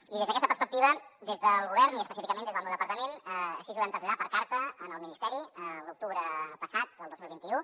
i des d’aquesta perspectiva des del govern i específicament des del meu departament així ho vam traslladar per carta al ministeri l’octubre passat del dos mil vint u